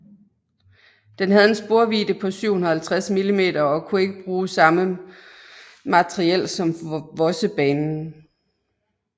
Den havde en sporvidde på 750 mm og kunne ikke bruge samme materiel som Vossebanen